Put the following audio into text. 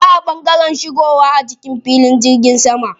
Na kwana a ɓangaren shigowa a cikin filin jirgin sama.